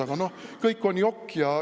Aga noh, kõik on jokk.